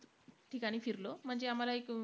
ठिकाणी फिरलो. म्हणजे आम्हाला एक.